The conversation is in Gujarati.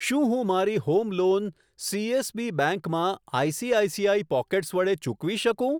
શું હું મારી હોમ લોન સીએસબી બેંક માં આઈસીઆઈસીઆઈ પોકેટ્સ વડે ચૂકવી શકું?